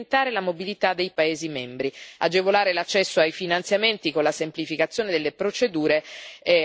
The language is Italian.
Agevolare l'accesso ai finanziamenti con la semplificazione delle procedure va in questa direzione.